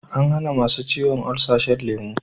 An hana masu ciwon olsa shan lemu